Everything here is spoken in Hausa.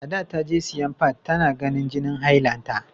Ada ta je siyan fad, ta na ganin jinin hailanta.